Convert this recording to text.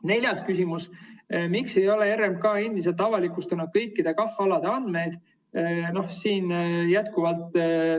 Neljas küsimus: "Miks ei ole RMK endiselt avalikustanud kõikide KAH‑alade andmeid?